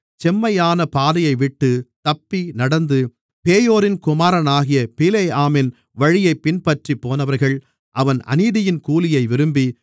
செம்மையான பாதையைவிட்டுத் தப்பிநடந்து பேயோரின் குமாரனாகிய பிலேயாமின் வழியைப் பின்பற்றிப் போனவர்கள் அவன் அநீதியின் கூலியை விரும்பி